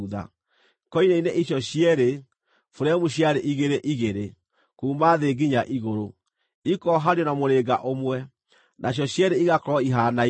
Koine-inĩ ici cierĩ, buremu ciarĩ igĩrĩ igĩrĩ, kuuma thĩ nginya igũrũ, ikoohanio na mũrĩnga ũmwe; nacio cierĩ igakorwo ihaanaine.